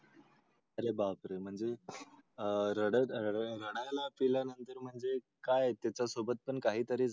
अरे बापरे म्हणजे अह रडत रड रडायला पिला नंतर म्हणजे काय त्याचा सोबत पण काही तरी झालं.